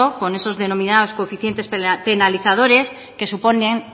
con esos denominados coeficientes penalizadores que suponen